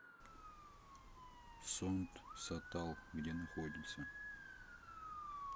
сонт сатал где находится